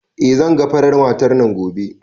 Eh zan ga farar matar nan gobe